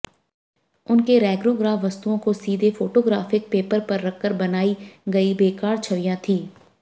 उनके रेगोग्राफ वस्तुओं को सीधे फोटोग्राफिक पेपर पर रखकर बनाई गई बेकार छवियां थीं